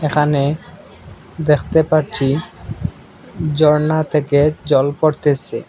এখানে দ্যাখতে পারচি জরনা থেকে জল পরতেছে।